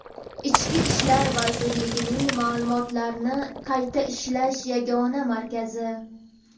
Ichki ishlar vazirligining Ma’lumotlarni qayta ishlash yagona markazi.